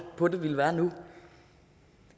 på det ville være nu